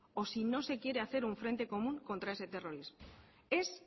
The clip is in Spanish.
o si no se quiere hacer un frente común contra ese terrorismo es